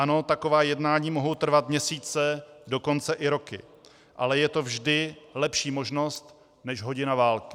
Ano, taková jednání mohou trvat měsíce, dokonce i roky, ale je to vždy lepší možnost než hodina války.